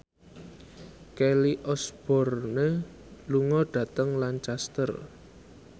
Kelly Osbourne lunga dhateng Lancaster